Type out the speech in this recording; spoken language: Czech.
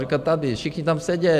Říká, tady, všichni tam sedí.